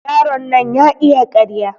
Yaron nan ya iya ƙarya.